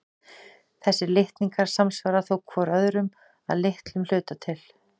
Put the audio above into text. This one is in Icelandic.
Þessir litningar samsvara þó hvor öðrum að litlum hluta til.